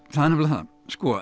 er nefnilega það sko